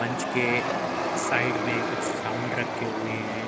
मंच के साइड में कुछ साउंड रखे हुए हैं।